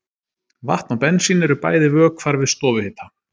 Vatn og bensín eru bæði vökvar við stofuhita.